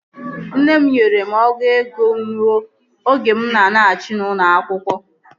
Nne m nyere m ọgụ ego nnu oge mụ na alaghachi n'ụlọ akwụkwọ